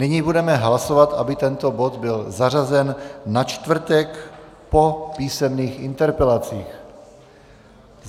Nyní budeme hlasovat, aby tento bod byl zařazen na čtvrtek po písemných interpelacích.